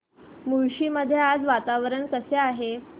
मुळशी मध्ये आज वातावरण कसे आहे